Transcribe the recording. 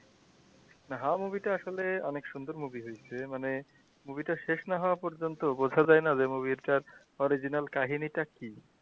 movie টা আসলে অনেক সুন্দর movie হইছে মানে movie টা শেষ না হওয়া পর্যন্ত বোঝা যায়না যে movie টার original কাহিনিটা কী?